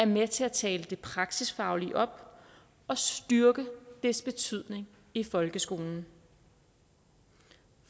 med til at tale det praksisfaglige op og styrke dets betydning i folkeskolen